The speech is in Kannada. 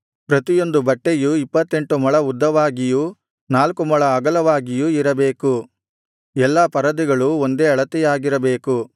ಪ್ರತಿಯೊಂದು ಬಟ್ಟೆಯೂ ಇಪ್ಪತ್ತೆಂಟು ಮೊಳ ಉದ್ದವಾಗಿಯೂ ನಾಲ್ಕು ಮೊಳ ಅಗಲವಾಗಿಯೂ ಇರಬೇಕು ಎಲ್ಲಾ ಪರದೆಗಳು ಒಂದೇ ಅಳತೆಯಾಗಿರಬೇಕು